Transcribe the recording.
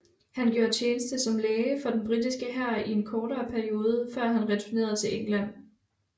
Han gjorde tjeneste som læge for den britiske hær i en kortere periode før han returnerede til England